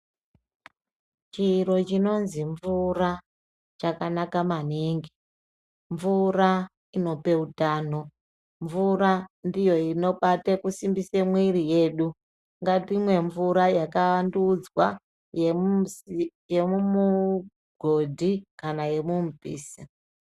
Chiro chinonzi mvura chakanaka maningi. Mvura inope utano mvura ndiyo inobate kusimbise mwiri yedu, ngatimwe mvura yakavandudzwa yemumugondi kana yemumupisa